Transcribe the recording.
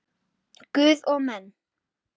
Guð og menn.